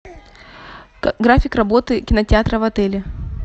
график работы кинотеатра в отеле